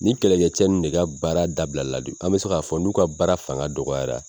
Ni kɛlɛkɛcɛ ninnu de ka baara dabila de, an bɛ se k'a fɔ n'u ka baara fanga dɔgɔyara.